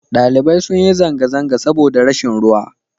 ɗalibai sun yi zanga-zanga saboda rashin ruwa